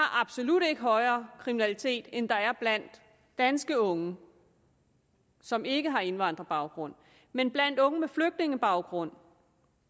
absolut ikke højere kriminalitet end der er blandt danske unge som ikke har indvandrerbaggrund men blandt unge med flygtningebaggrund